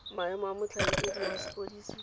maemo a motlhankedi wa sepodisi